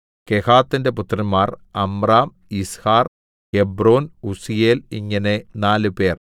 കെഹാത്തിന്റെ പുത്രന്മാർ Amram Izhar Hebron Uzziel ഇങ്ങനെ നാലുപേർ